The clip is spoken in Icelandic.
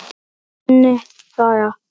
Berið fram með góðri sultu.